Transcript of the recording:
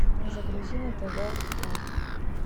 загрузи на тв фэн